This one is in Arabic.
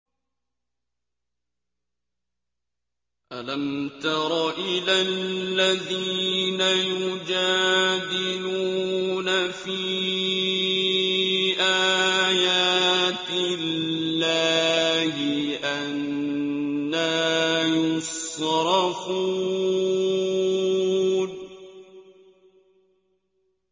أَلَمْ تَرَ إِلَى الَّذِينَ يُجَادِلُونَ فِي آيَاتِ اللَّهِ أَنَّىٰ يُصْرَفُونَ